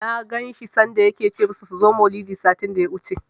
Na ganshi sanda yake ce musu su zo maulidi, satin daya wuce